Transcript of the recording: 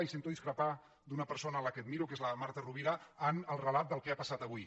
i sento discrepar d’una persona a la qual admiro que és la marta rovi·ra en el relat del que ha passat avui